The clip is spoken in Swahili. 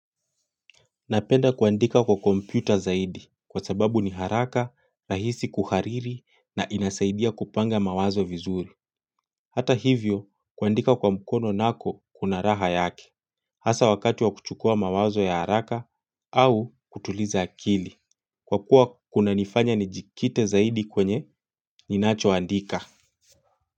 Napenda kuandika kwa kompyuta zaidi kwa sababu ni haraka, rahisi kuhariri na inasaidia kupanga mawazo vizuri. Hata hivyo kuandika kwa mkono nako kuna raha yake. Hasa wakati wa kuchukua mawazo ya haraka au kutuliza akili. Kwa kuwa kuna nifanya ni jikite zaidi kwenye ni nacho andika.